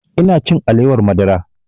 Ina cin alewar madara